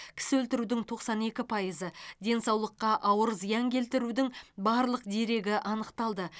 кісі өлтірудің тоқсан екі пайызы денсаулыққа ауыр зиян келтірудің барлық дерегі анықталды